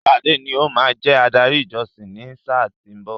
Sade ní o máa jẹ adarí ìjọsìn ni sáà tí ó ń bọ̀.